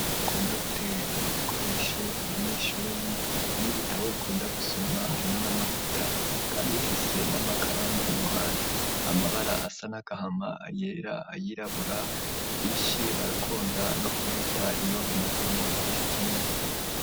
Ukunda guterera ibikoresho abanyeshuri n'ibitabo ukunda gusoma harimwo n'amavuta kandi bifise n'amakaramu iruhande amabara asa nagahama ayirabura vyinshi bakunda no kubita iyo bimazemo igihe kinini.